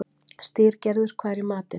Styrgerður, hvað er í matinn?